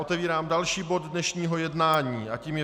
Otevírám další bod dnešního jednání a tím je